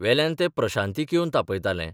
वेल्यान तें प्रशांतीक येवन तापयताले.